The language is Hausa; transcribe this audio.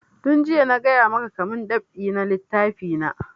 Tun jiya na gaya maka ka mun dab'i na littafi na!